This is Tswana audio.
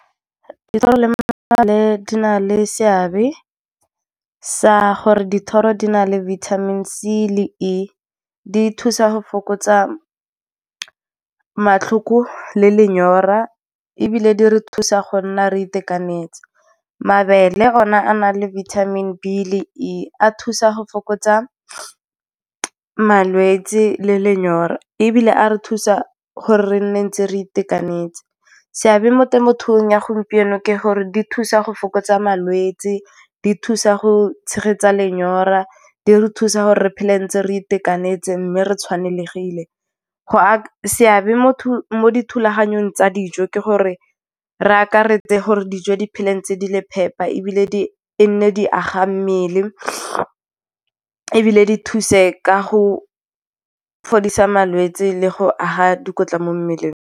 Dithoro le mabele di na le seabe sa gore dithoro di na le vitamin C le E, di thusa go fokotsa matlhoko le lenyora, ebile di re thusa go nna re itekanetse. Mabele ona a na le vitamin B le E a thusa go fokotsa malwetse le lenyora, ebile a re thusa gore re nne ntse re itekanetse. Seabe mo temothuong ya gompieno ke gore di thusa go fokotsa malwetse, di thusa go tshegetsa lenyora, di re thusa gore re phele ntse re itekanetse mme re tshwanegile. Seabe mo dithulaganyong tsa dijo ke gore re akaretse gore dijo di phele, tse di le phepa, ebile e nne di aga mmele, ebile di thuse ka go fodisa malwetse le go aga dikotla mo mmeleng.